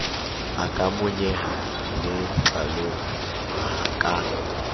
a ka monyeha letlalong ka